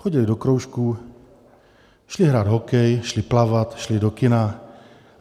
Chodily do kroužků, šly hrát hokej, šly plavat, šly do kina.